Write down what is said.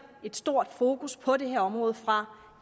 et stort fokus på det her område fra